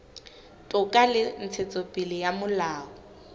toka le ntshetsopele ya molao